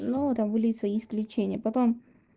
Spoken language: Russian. ну таблицу исключения потом